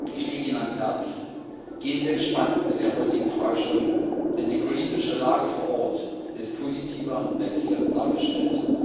Ich lege Ihnen ans Herz Gehen Sie entspannt mit der heutigen Fragestellung um, denn die politische Lage vor Ort ist positiver als hier dargestellt.